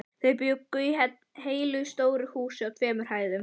Þau bjuggu í heilu stóru húsi á tveimur hæðum.